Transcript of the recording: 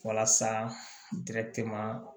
Walasa